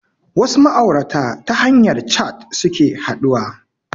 Wasu ma'aurata ta hanyar cat suke haɗuwa